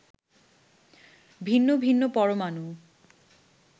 ভিন্ন ভিন্ন পরমাণু